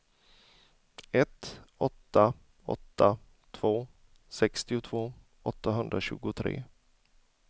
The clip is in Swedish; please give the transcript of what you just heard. ett åtta åtta två sextiotvå åttahundratjugotre